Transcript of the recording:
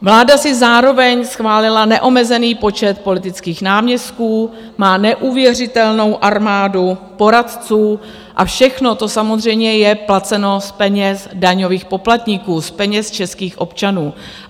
Vláda si zároveň schválila neomezený počet politických náměstků, má neuvěřitelnou armádu poradců a všechno to samozřejmě je placeno z peněz daňových poplatníků, z peněz českých občanů.